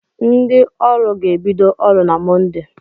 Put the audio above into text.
Ndị ọrụ ga-ebido ọrụ na Mọnde.